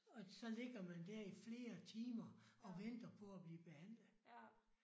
Og så ligger man der i flere timer og venter på at blive behandlet